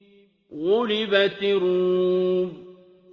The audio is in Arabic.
غُلِبَتِ الرُّومُ